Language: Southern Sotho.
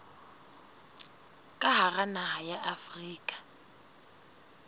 ka hara naha ya afrika